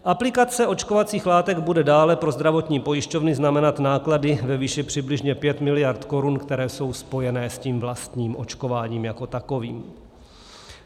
Aplikace očkovacích látek bude dále pro zdravotní pojišťovny znamenat náklady ve výši přibližně 5 miliard korun, které jsou spojené s tím vlastním očkováním jako takovým.